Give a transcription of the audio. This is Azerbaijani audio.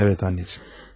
Evet anneciğim.